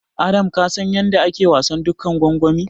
Adams ka san yanda ake wasan dukan gwangwani?